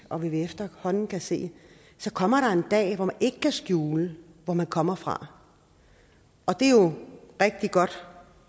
og hvad vi efterhånden kan se så kommer der en dag hvor det ikke kan skjules hvor man kommer fra det er jo rigtig godt